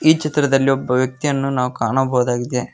ಈ ಚಿತ್ರದಲ್ಲಿ ಒಬ್ಬ ವ್ಯಕ್ತಿಯನ್ನು ನಾವು ಕಾಣಬಹುದಾಗಿದೆ.